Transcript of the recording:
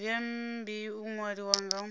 zwi ambi u ṅwalisa nga